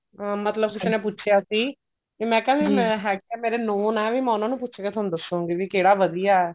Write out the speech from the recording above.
ਅਮ ਮਤਲਬ ਕਿਸੀ ਨੇ ਪੁੱਛੀਆ ਸੀ ਵੀ ਮੈਂ ਕਿਹਾ ਹੈਗੇ ਤਾਂ ਮੇਰੇ known ਐ ਵੀ ਉਹਨਾਂ ਨੂੰ ਪੁੱਛ ਕੇ ਤੁਹਾਨੂੰ ਦਸੁੰਗੀ ਵੀ ਕਿਹੜਾ ਵਧੀਆ